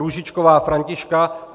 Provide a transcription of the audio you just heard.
Růžičková Františka